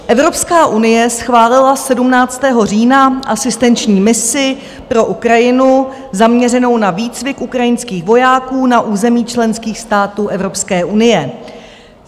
Evropská unie schválila 17. října asistenční misi pro Ukrajinu zaměřenou na výcvik ukrajinských vojáků na území členských států Evropské unie.